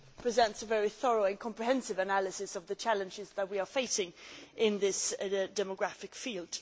It presents a very thorough and comprehensive analysis of the challenges that we are facing in this demographic field.